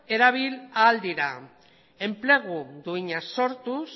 erabil ahal dira enplegu duina sortuz